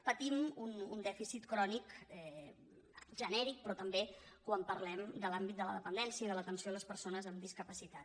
patim un dèficit crònic genèric però també quan parlem de l’àmbit de la dependència i de l’atenció a les persones amb discapacitat